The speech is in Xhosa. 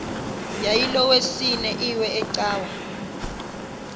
yayilolwesine iwe cawa